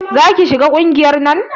Za ki shiga ƙungiyar nan?